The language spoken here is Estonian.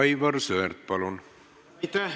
Aivar Sõerd, palun!